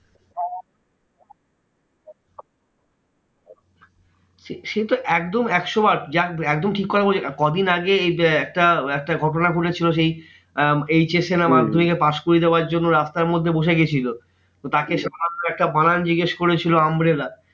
সেতো একদম একশো বার একদম ঠিক কথা বলেছো কদিন আগে এই একটা একটা ঘটনা ঘটেছিলো সেই আহ HS এ না মাধ্যমিকে pass করিয়ে দেওয়ার জন্য রাস্তাতে বসে গেছিলো। তো তাকে সাধারণ একটা বানান জিজ্ঞেস করেছিল umbrella